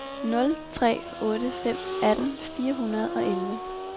nul tre otte fem atten fire hundrede og elleve